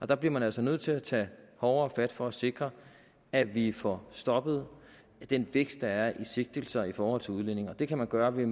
der bliver man altså nødt til at tage hårdere fat for at sikre at vi får stoppet den vækst der er i sigtelser i forhold til udlændinge og det kan man gøre ved